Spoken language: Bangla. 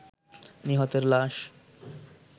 নিহতের লাশ